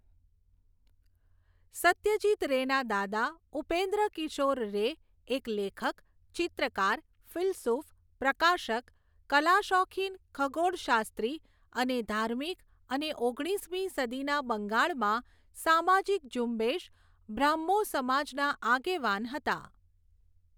સત્યજીત રેના દાદા, ઉપેન્દ્રકિશોર રે એક લેખક, ચિત્રકાર, ફિલસૂફ, પ્રકાશક, કલાશોખીન ખગોળશાસ્ત્રી અને ધાર્મિક અને ઓગણીસમી સદીના બંગાળમાં સામાજીક ઝુંબેશ, બ્રાહ્મો સમાજના આગેવાન હતા.